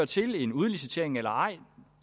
til en udlicitering eller ej